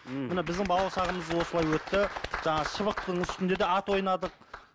ммм мына біздің балалық шағымыз осылай өтті жаңағы шыбықтың үстінде де ат ойнадық